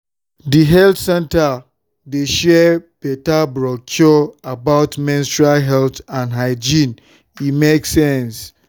the health center dey share better brochure about menstrual health and hygiene—e make sense.